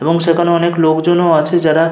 এবং সেখানে অনেক লোকজন ও আছে যারা --